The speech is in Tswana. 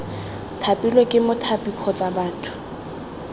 thapilwe ke mothapi kgotsa batho